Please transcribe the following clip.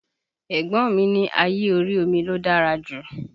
Ẹ̀gbọ́n mi ní ayé orí omi ló dára jù